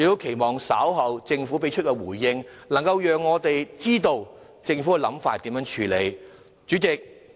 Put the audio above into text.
希望政府能在稍後的回應中，讓我們知道政府有何處理方法。